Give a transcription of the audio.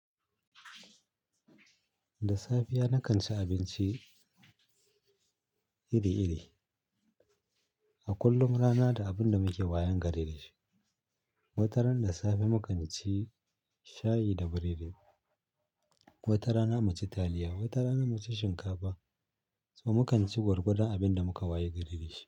Da safiya na kanci abinci iri-iri. A kullum rana da abunda muke wayan gare dashi. Wataran da safe mu kanci shayi da burodi, wata rana muci taliya, wata rana muci shinkafa. So mu kanci gwargwadon abinda muka wayi gari dashi.